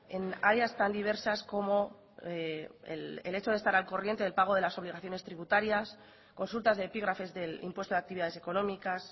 en áreas tan diversas como el hecho de estar al corriente del pago de las obligaciones tributarias consultas de epígrafes del impuesto de actividades económicas